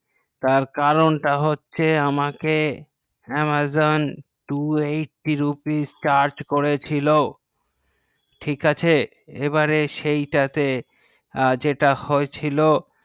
তার কারণটা হচ্ছে আমাকে amazon two eighty rupees charge করে ছিল ঠিক আছে এবারে সেই টাকে যেটা হয়েছিল